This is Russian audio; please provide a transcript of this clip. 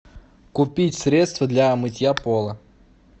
купить средство для мытья пола